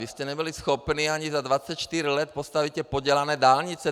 Vy jste nebyli schopni ani za 24 let postavit ty podělané dálnice!